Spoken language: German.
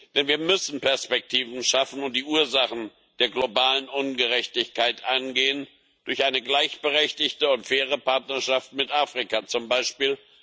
Denn wir müssen Perspektiven schaffen und die Ursachen der globalen Ungerechtigkeit angehen durch eine gleichberechtigte und faire Partnerschaft mit Afrika zum Beispiel.